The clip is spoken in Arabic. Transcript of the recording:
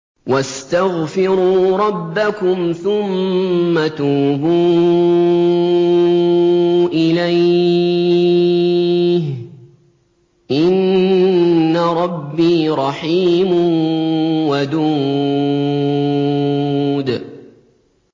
وَاسْتَغْفِرُوا رَبَّكُمْ ثُمَّ تُوبُوا إِلَيْهِ ۚ إِنَّ رَبِّي رَحِيمٌ وَدُودٌ